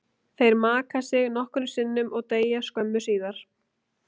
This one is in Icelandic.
Þeir maka sig nokkrum sinnum og deyja skömmu síðar.